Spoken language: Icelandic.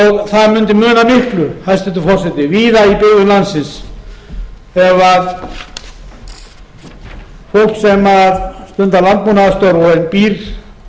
það mundi muna miklu hæstvirtur forseti víða í byggðum landsins ef fólk sem stundar landbúnaðarstörf og býr